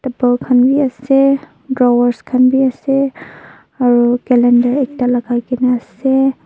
khan b ase drawers khan b ase aro calendar ekta lagai gina ase.